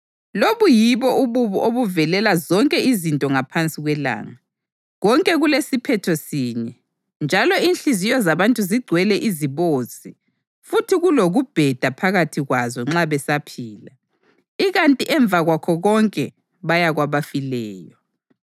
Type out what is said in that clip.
Lobu yibo ububi obuvelela zonke izinto ngaphansi kwelanga: Konke kulesiphetho sinye. Njalo inhliziyo zabantu zigcwele izibozi futhi kulokubheda phakathi kwazo nxa besaphila, ikanti emva kwakho konke baya kwabafileyo.